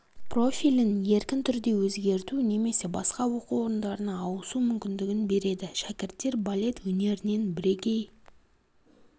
профилін еркін түрде өзгерту немесе басқа оқу орындарына ауысу мүмкіндігін береді шәкірттер балет өнерінен бірегей